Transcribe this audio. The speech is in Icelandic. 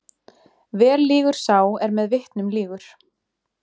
Vel lýgur sá er með vitnum lýgur.